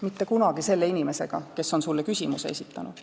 Mitte kunagi selle inimesega, kes on sulle küsimuse esitanud.